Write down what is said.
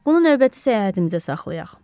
Bunu növbəti səyahətimizə saxlayaq.